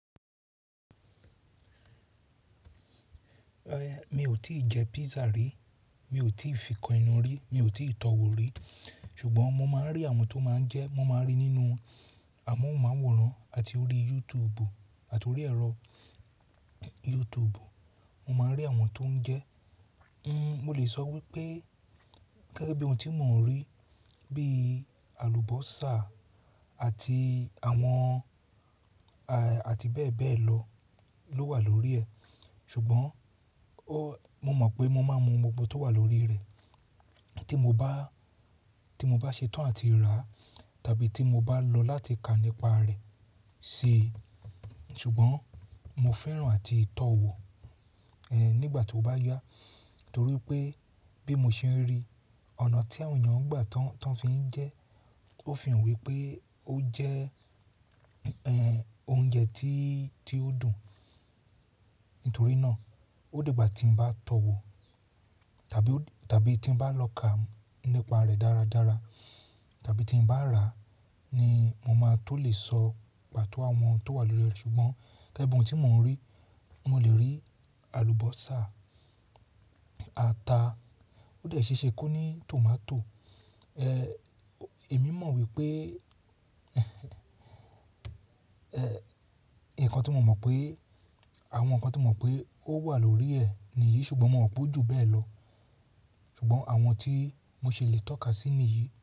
Mi ò tí ì jẹ pizza rí, mi ò tí ì fi kan enú rí, mi ò tí ì tọ wò rí. Ṣùgbọ́n mo máa ń rí àwọn tó máa ń jẹ ẹ́, mo máa ń rí nínú amóhùnmáwòrán àti orí YouTube àti orí ẹ̀rọ YouTube. Mo máa ń rí àwọn tó ń jẹ ẹ́. N— mo lè sọ wípé gẹ́gẹ́ bí ohun tí mò ń rí bí i àlùbọ́sà àti àwọn a àti bẹ́ẹ̀ bẹ́ẹ̀ lọ ló wà lórí ẹ. Ṣùgbọ́n o mo mọ̀ pé mo máa mọ ohun gbogbo tó wà lórí rẹ̀ tí mo bá, tí mo bá ṣetán àti rà á tàbí tí mo bá lọ láti kà nípa rẹ̀ si. Ṣùgbọ́n mo fẹ́ràn àti tọ wò, ẹ́ nígbà tí ó bá yá. Nítorí pé bí mo ṣe ń rí ọ̀nà tí àwọn èèyàn ń gbà á tán, tán fi ń jẹ ẹ́, ó fi hàn wípé ó jẹ́ ẹ́ oúnjẹ tí, tí ó dùn. Nítorí náà ó di gbá tí ń bá tọ wò tàbí ó tàbí tí ń bá lọ kà á nípa rẹ̀ dáradára tàbí tí ń bá rà á ni mo máa tó lè sọ pàtó àwọn tó wà lórí ẹ. Ṣùgbọ́n gẹ́gẹ́ bí ohun tí mò ń rí, mo lè rí àlùbọ́sà, ata ó dẹ̀ ṣeṣe kó ní tòmátò. Èmi mọ̀ wípé ǹkan tí mo mọ̀ pé, àwọn ǹkan tí mo mọ̀ pé ó wà lórí ẹ nì yìí ṣùgbọ́n mo mọ̀ pé ó jù bẹ́ẹ̀ lọ. Ṣùgbọ́n àwọn tí mo ṣi lè tọ́ka sí nì yìí.